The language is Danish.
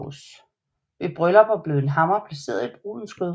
Ved bryllupper blev en hammer placeret i brudens skød